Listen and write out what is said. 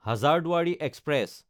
Hazarduari express